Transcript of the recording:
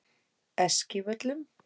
Eskivöllum